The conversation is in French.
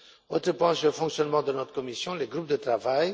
Autre point sur le fonctionnement de notre commission les groupes de travail.